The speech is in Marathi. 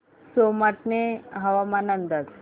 सोमाटणे हवामान अंदाज